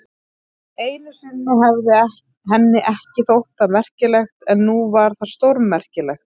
Einu sinni hefði henni ekki þótt það merkilegt, en nú var það stórmerkilegt.